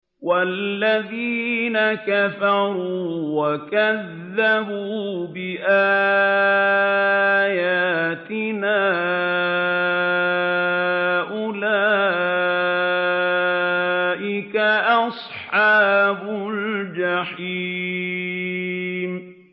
وَالَّذِينَ كَفَرُوا وَكَذَّبُوا بِآيَاتِنَا أُولَٰئِكَ أَصْحَابُ الْجَحِيمِ